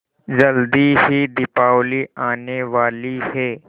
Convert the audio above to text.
जल्दी ही दीपावली आने वाली है